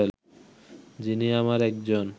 যিনি আমার একজন